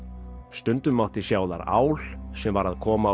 stundum mátti sjá þar ál sem var að koma